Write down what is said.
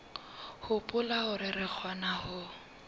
hopola hore re kgona ho